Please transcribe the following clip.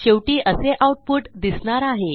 शेवटी असे आऊटपुट दिसणार आहे